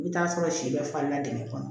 I bɛ t'a sɔrɔ si bɛɛ falenna dingɛ kɔnɔ